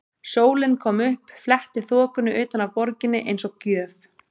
Sólin kom upp, fletti þokunni utan af borginni eins og gjöf.